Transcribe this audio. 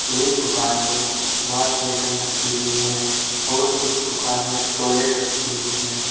एक दुकान में वॉश बेसन रखी हुई है और एक दुकान में टॉयलेट रखी हुई है।